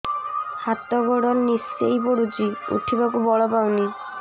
ହାତ ଗୋଡ ନିସେଇ ପଡୁଛି ଉଠିବାକୁ ବଳ ପାଉନି